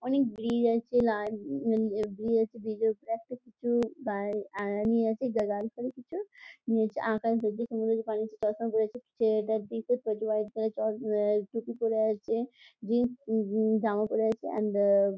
অনেক ব্রিজ আছে । ব্রিজ -এর উপরে একটা কিছু গায় আ নিয়ে আছে আ গাড়ি ফাড়ি কিছু | নিয়ে হচ্ছে আকাশ দেখছে | সমুদ্রের পানে চশমা পরে আছে। ছেলেটার দিকে প্রচুর হোয়াইট কালারের চশ আ টুপি পরে আছে | জিন্স জামা পরে আছে অ্যান্ড আ --